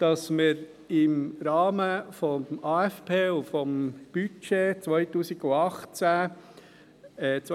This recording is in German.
dass wir im Rahmen des Aufgaben- und Finanzplans (AFP) und des Budgets